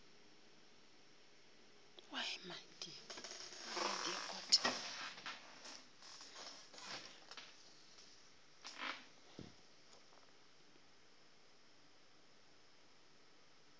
go bao ba bego ba